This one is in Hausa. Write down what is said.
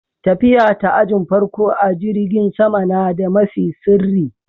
Tafiya ta ajin farko a'jirigin sama na da mafi sirri.